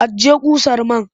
Ajiye ƙusar man!